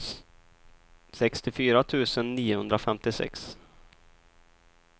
sextiofyra tusen niohundrafemtiosex